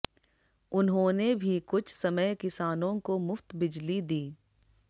उन्होंने भी कुछ समय किसानों को मुफ्त बिजली दी